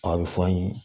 A bɛ fɔ an ye